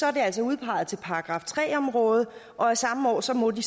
er det altså udpeget til § tre område og af samme årsag må de